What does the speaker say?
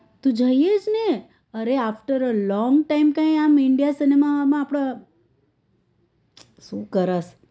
તું જોઈએ છે ને અરે after a long time આમ india સિનેમા માં આપડ સુ કરસ?